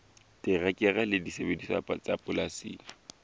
terekere le disebediswa tsa polasing